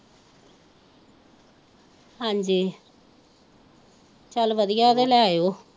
ਹਾਜੀ ਚੱਲ ਵਧੀਆ ਹੈ ਤਾ ਲੈ ਆਓ।